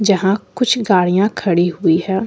यहां कुछ गाड़ियां खड़ी हुई है।